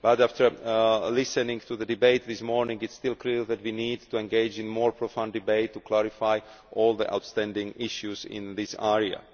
But after listening to the debate this morning it is still clear that we need to engage in more profound debate to clarify all the outstanding issues in this area.